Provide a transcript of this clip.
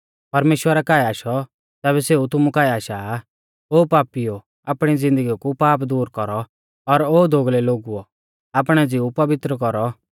परमेश्‍वरा काऐ आशौ तैबै सेऊ भी तुमु काऐ आशा आ ओ पापीओ आपणी ज़िन्दगी कु पाप दूर कौरौ और ओ दोगलै लोगुओ आपणै ज़िऊ पवित्र कौरौ